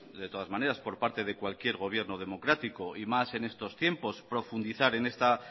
de todas maneras por parte de cualquier gobierno democrático y más en estos tiempos profundizar en esta